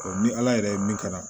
ni ala yɛrɛ ye min kɛ